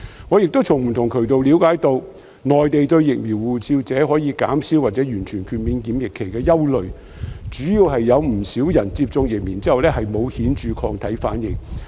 我亦從不同渠道了解到，內地對"疫苗護照"持有者可以減少或完全豁免檢疫期的憂慮，主要是有不少人在接種疫苗後沒有顯著抗體反應。